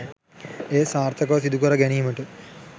එය සාර්ථකව සිදුකර ගැනීමට